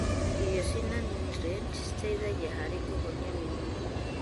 Irio cina niutrienti citeithagia harĩ kũhonia mĩrimũ.